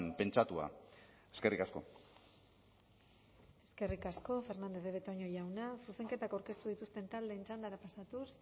pentsatua eskerrik asko eskerrik asko fernández de betoño jauna zuzenketak aurkeztu dituzten taldeen txandara pasatuz